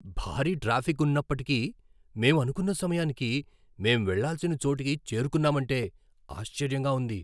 భారీ ట్రాఫిక్ ఉన్నప్పటికీ, మేము అనుకున్న సమయానికి మేం వెళ్లాల్సిన చోటుకి చేరుకున్నామంటే ఆశ్చర్యంగా ఉంది!